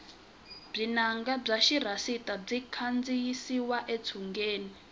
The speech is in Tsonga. vunanga bya xirhasita byi kandiyisiwa etshungeni